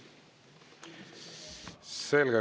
Selge.